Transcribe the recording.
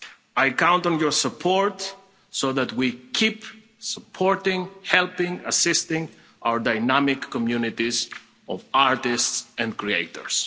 I count on your support so that we keep supporting, helping, assisting our dynamic communities of artists and creators.